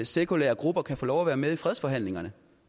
sekulære grupper kan få lov at være med i fredsforhandlingerne